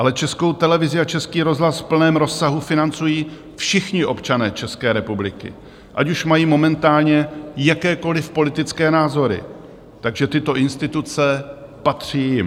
Ale Českou televizi a Český rozhlas v plném rozsahu financují všichni občané České republiky, ať už mají momentálně jakékoliv politické názory, takže tyto instituce patří jim.